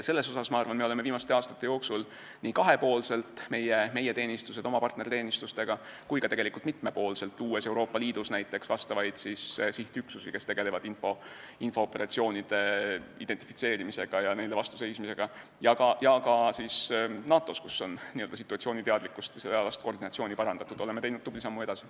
Siin, ma arvan, me oleme viimaste aastate jooksul nii kahepoolselt kui ka mitmepoolselt teinud tubli sammu edasi.